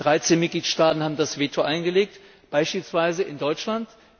13 Mitgliedstaaten haben das Veto eingelegt, beispielsweise Deutschland.